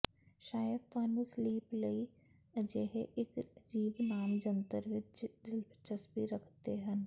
ਸ਼ਾਇਦ ਤੁਹਾਨੂੰ ਸਲੀਪ ਲਈ ਅਜਿਹੇ ਇੱਕ ਅਜੀਬ ਨਾਮ ਜੰਤਰ ਵਿੱਚ ਦਿਲਚਸਪੀ ਰੱਖਦੇ ਹਨ